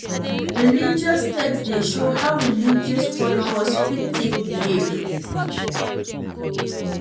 Religious text dey show how religious folowers fit take behave